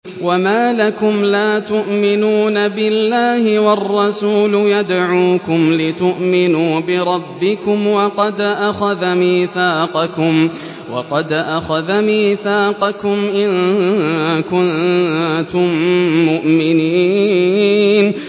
وَمَا لَكُمْ لَا تُؤْمِنُونَ بِاللَّهِ ۙ وَالرَّسُولُ يَدْعُوكُمْ لِتُؤْمِنُوا بِرَبِّكُمْ وَقَدْ أَخَذَ مِيثَاقَكُمْ إِن كُنتُم مُّؤْمِنِينَ